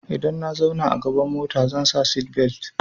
Idan na zauna a gaban mota zan sa seatbelt.